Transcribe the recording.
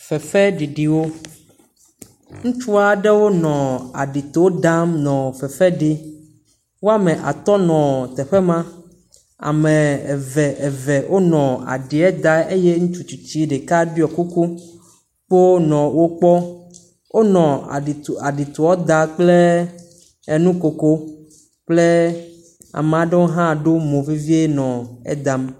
Fefeɖiɖiwo. Ŋutsu aɖewo nɔ aɖito dam nɔ fefe ɖim. Wo ame atɔ̃ nɔ teƒe ma. Ame eve eve nɔ aɖia dam eye ŋutsu tsitsi ɖeka ɖui kuku kpoo nɔ wo kpɔm. Wonɔ aɖitoa dam kple nukoko kple ame aɖewo hã ɖo mo vevie nɔ edam.